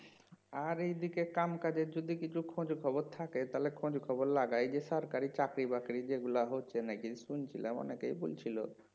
আর এইদিকে কাম কাজের যদি কিছু খোঁজ খবর থাকে তাহলে খোঁজ খবর লাগায়ে সরকারি চাকরি বাকরি যেগুলো হচ্ছে নাকি শুনছিলাম অনেকেই বলছিল